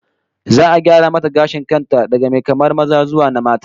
Za'a gyara mata gashin kan ta daga mai kamar maza zuwa na mata